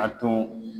A tun